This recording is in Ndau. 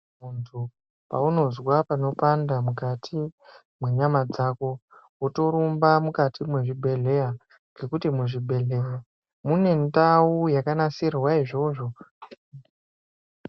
Muntu paunozwa panopanda mukati menyama dzako motorumba mukati mezvibhedhlera ngekuti muzvibhedhlera mune ndau yakanasirwa izvozvo.